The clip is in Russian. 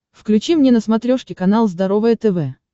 включи мне на смотрешке канал здоровое тв